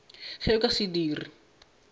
ge o ka se dire